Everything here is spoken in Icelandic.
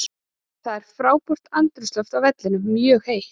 Það var frábært andrúmsloft á vellinum, mjög heitt.